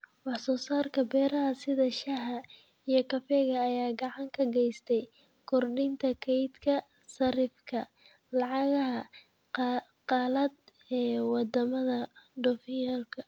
Wax soo saarka beeraha sida shaaha iyo kafeega ayaa gacan ka geysta kordhinta kaydka sarifka lacagaha qalaad ee wadamada dhoofiya.